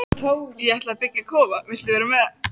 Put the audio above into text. Ég ætla að byggja kofa, viltu vera með?